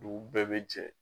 Dugu bɛɛ bɛ jɛ.